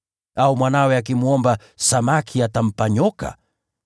Au mwanawe akimwomba samaki atampa nyoka?